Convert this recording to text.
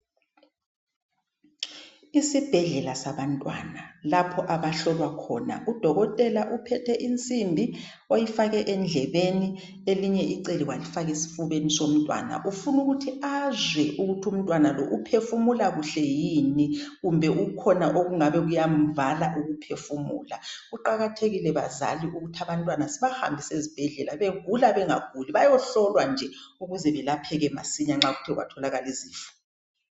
Isibhedlela sabantwana lapho abahlolwakhona Udokotela uphethe insimbi oyifake endlebeni elinye icele walifaka esifubeni somntwana ufuna ukuthi azwe ukuthi umntwana lo uphefumulakuhle yini kumbe kukhona okungabe kuyamvala ukuphefumula kuqakathekile bazali ukuthi abantwana sibahambise ezibhedlela begula bengaguli bayehlolwa nje ukuze belapheke masinya nxa kuthe kwatholakala izifo